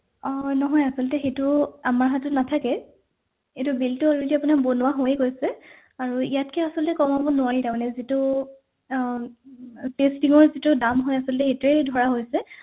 অ নহয় আচলতে সেইটো আমাৰ হাতত নাথাকে এইটো bill টো already আপোনাৰ বনোৱা হৈয়ে গৈছে আৰু ইয়াতকে আচলতে কমাব নোৱাৰি তাৰমানে যিটো আহ testing ৰ যিটো দাম হয় আচলতে সেইটোৱে ধৰা হৈছে